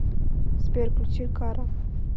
сбер включи карра